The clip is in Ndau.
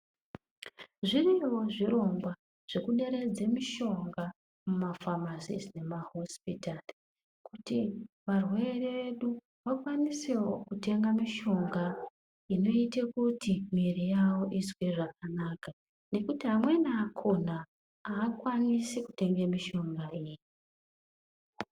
Zviriyowo zvirongwa zvekuderedze mishonga mumafamasi nemahosipitari kuti varwere vedu vakwanisewo kutenga mushonga inoite kuti mwiri yavo izwe zvakanaka, nekuti amweni akhona aakwanisi kutenge mishonga iyi.